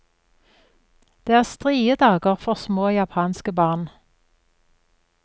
Det er strie dager for små japanske barn.